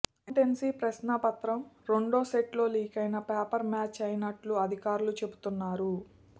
accountancy ప్రశ్నాపత్రం రెండో సెట్తో లీకైన పేపర్ మ్యాచ్ అయినట్టు అధికారులు చెబుతున్నారు